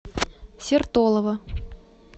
сертолово